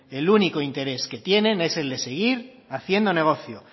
el único interés que tiene es el de seguir haciendo negocio